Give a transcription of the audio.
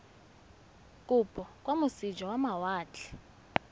kopo kwa moseja wa mawatle